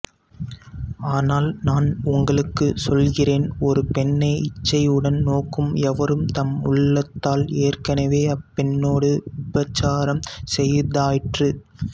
ஆனால் நான் உங்களுக்குச் சொல்கிறேன் ஒரு பெண்ணை இச்சையுடன் நோக்கும் எவரும் தம் உள்ளத்தால் ஏற்கனவே அப்பெண்ணோடு விபச்சாரம் செய்தாயிற்று